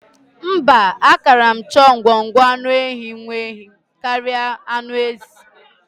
Mba, ákàrà m chọọ ngwọngwọ anụ nwaehi karịa anụ ezi.